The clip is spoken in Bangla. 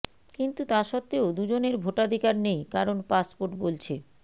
কিন্তু তা সত্ত্বেও দুজনের ভোটাধিকার নেই কারণ পাসপোর্ট বলছে